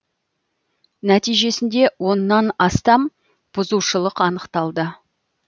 нәтижесінде оннан астам бұзушылық анықталды